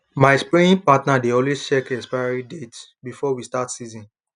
my spraying partner dey always check expiry date before we start season